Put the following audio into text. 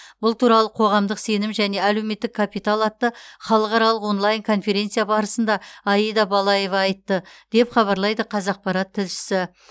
бұл туралы қоғамдық сенім және әлеуметтік капитал атты халықаралық онлайн конференция барысында аида балаева айтты деп хабарлайды қазақпарат тілшісі